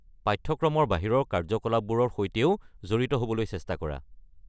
পাঠ্যক্ৰমৰ বাহিৰৰ কাৰ্যকলাপবোৰৰ সৈতেও জড়িত হ'বলৈ চেষ্টা কৰা।